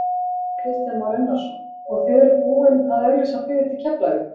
Kristján Már Unnarsson: Og þið eruð búinn að auglýsa flugið til Keflavíkur?